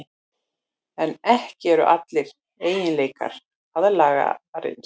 En ekki eru allir eiginleikar aðlaganir.